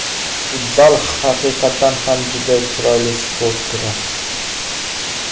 Futzal haqiqatan ham juda chiroyli sport turi.